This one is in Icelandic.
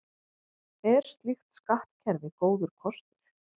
Er slíkt skattkerfi góður kostur?